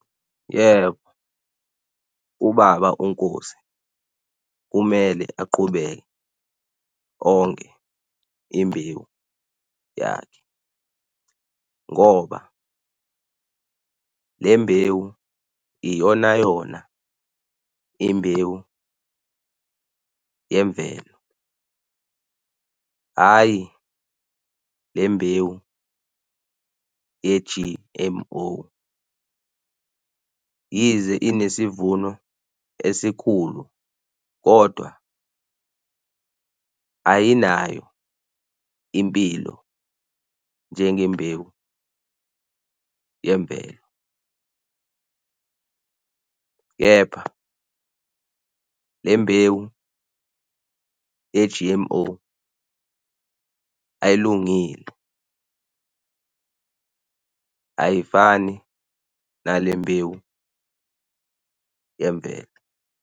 Yebo, ubaba uNkosi kumele aqhubeke onge imbewu yakhe. Ngoba le mbewu iyonayona imbewu yemvelo hhayi le mbewu ye-G_M_O. Yize inesivuno esikhulu kodwa ayinayo impilo njenge mbewu yemvelo. Kepha le mbewu ye-G_M_O ayilungile, ayifani nale mbewu yemvelo.